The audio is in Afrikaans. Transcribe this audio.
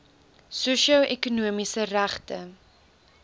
sosio ekonomiese regte